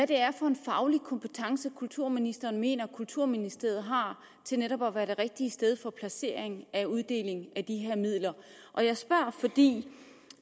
det er for en faglig kompetence kulturministeren mener kulturministeriet har til netop at være det rigtige sted for placeringen af uddelingen af de her midler og jeg spørger fordi